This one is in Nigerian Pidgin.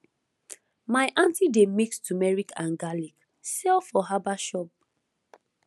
my aunty dey mix turmeric and garlic sell for herbal shop